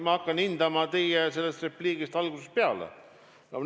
Ma hakkan hindama teie repliiki selle algusest peale.